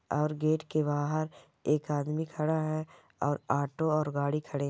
और गेट के बाहर एक आदमी खड़ा है और ऑटो और गाड़ी खड़े --